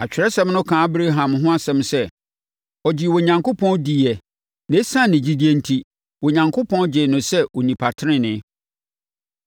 Atwerɛsɛm no kaa Abraham ho asɛm sɛ, “Ɔgyee Onyankopɔn diiɛ na ɛsiane ne gyidie enti, Onyankopɔn gyee no sɛ onipa tenenee.”